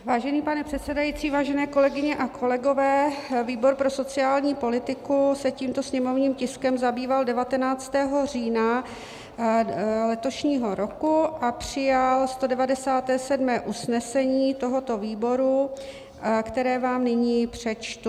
Vážený pane předsedající, vážené kolegyně a kolegové, výbor pro sociální politiku se tímto sněmovním tiskem zabýval 19. října letošního roku a přijal 197. usnesení tohoto výboru, které vám nyní přečtu.